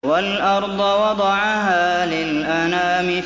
وَالْأَرْضَ وَضَعَهَا لِلْأَنَامِ